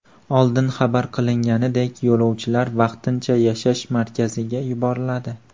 Oldin xabar qilinganidek, yo‘lovchilar vaqtincha yashash markaziga yuboriladi .